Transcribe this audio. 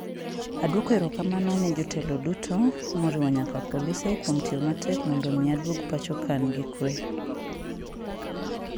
Adwoko erokamano ne jotelo duto, moriwo nyaka polise, kuom tiyo matek mondo omi aduog pacho ka an gi kuwe".